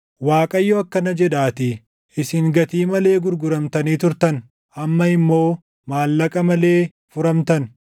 Waaqayyo akkana jedhaatii: “Isin gatii malee gurguramtanii turtan; amma immoo maallaqa malee furamtan.”